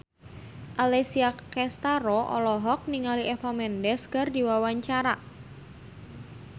Alessia Cestaro olohok ningali Eva Mendes keur diwawancara